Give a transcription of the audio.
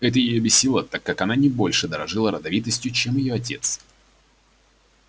это её бесило так как она не больше дорожила родовитостью чем её отец